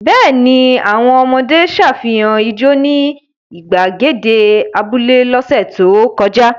Bẹ́ẹ̀ ni, àwọn ọmọdé ṣàfihàn ijó ní ìgbàgede abúlé lọ́sẹ̀ tó kọjá.